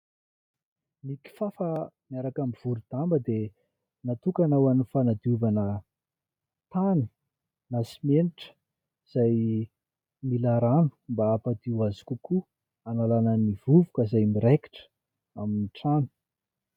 Ny kifafa miaraka amin'ny vorom-damba dia natokana ho an'ny fanadiovana tany, na simenitra izay mila rano mba hampadio azy kokoa. Hanalana ny vovoka izay miraikitra amin'ny trano.